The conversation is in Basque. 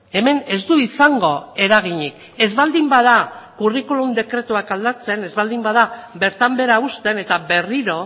hemen ez du izango eraginik ez baldin bada curriculum dekretuak aldatzen ez baldin bada bertan behera uzten eta berriro